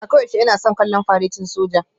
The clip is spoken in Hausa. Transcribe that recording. A koyaushe ina son kallon faretin soja